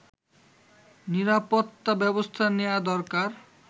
নিরাপত্তা ব্যবস্থা নেয়া দরকার